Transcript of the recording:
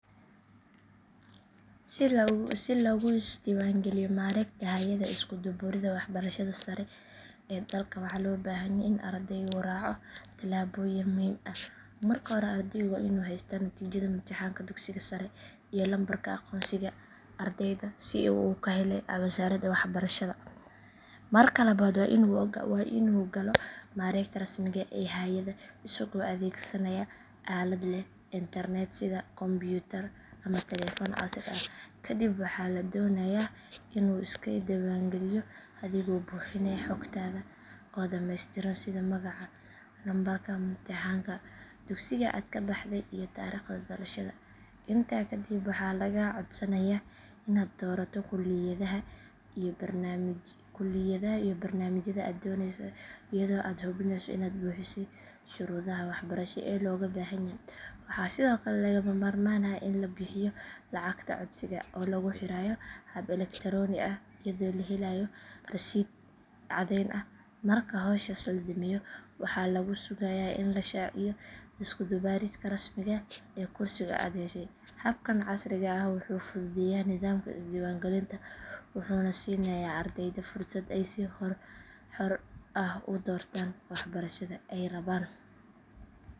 Si lagu isdiiwaangeliyo mareegta hay’adda isku dubbarida waxbarashada sare ee dalka waxaa loo baahan yahay in ardaygu raaco talaabooyin muhiim ah. Marka hore ardaygu waa inuu haystaa natiijada imtixaanka dugsiga sare iyo lambarka aqoonsiga ardayga ee uu ka helay wasaaradda waxbarashada. Marka labaad waa inuu galo mareegta rasmiga ah ee hay’adda isagoo adeegsanaya aalad leh internet sida kombuyuutar ama taleefan casri ah. Kadib waxaa la doonayaa inuu iska diiwaangeliyo adigoo buuxinaya xogtaada oo dhameystiran sida magaca, lambarka imtixaanka, dugsiga aad ka baxday iyo taariikhda dhalashada. Intaa kadib waxaa lagaa codsanayaa inaad doorato kulliyadaha iyo barnaamijyada aad danaynayso iyadoo aad hubinayso inaad buuxisay shuruudaha waxbarasho ee looga baahan yahay. Waxaa sidoo kale lagama maarmaan ah in la bixiyo lacagta codsiga oo lagu xareeyo hab elektaroonik ah iyadoo la helayo rasiidh caddeyn ah. Marka howshaas la dhameeyo waxaa lagu sugayaa in la shaaciyo isku dubbaridka rasmiga ah ee kursiga aad heshay. Habkan casriga ah wuxuu fududeeyaa nidaamka isdiiwaangelinta wuxuuna siinayaa ardayda fursad ay si xor ah u doortaan waxbarashada ay rabaan.